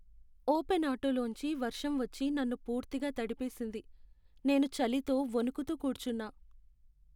Open auto లోంచి వర్షం వచ్చి నన్ను పూర్తిగా తడిపేసింది, నేను చలితో వణుకుతూ కూర్చున్నా.